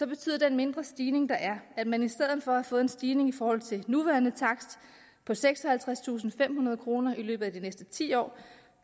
betyder den mindre stigning der er at man i stedet for at have fået en stigning i forhold til den nuværende takst på seksoghalvtredstusinde og femhundrede kroner i løbet af de næste ti år